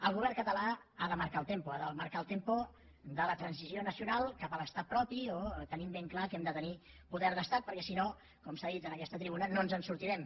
el govern català ha de marcar el tempoel tempo de la transició nacional cap a l’estat propi tenint ben clar que hem de tenir poder d’estat perquè si no com s’ha dit en aquesta tribuna no ens en sortirem